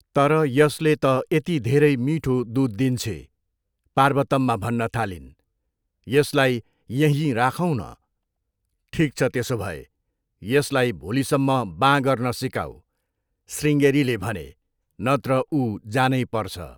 तर यसले त यति धेरै मिठो दुध दिन्छे!' पार्वतम्मा भन्न थालिन्। 'यसलाई यहीँ राखौँ न!', 'ठिक छ त्यसो भए, यसलाई भोलिसम्म बाँ गर्न सिकाऊ' शृङ्गेरीले भने, 'नत्र ऊ जानैपर्छ!'